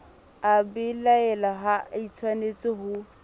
a belaela ha atshwanetse ho